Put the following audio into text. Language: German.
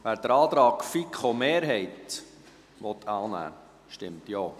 Wer den Antrag der FiKo-Mehrheit annehmen will, stimmt Ja,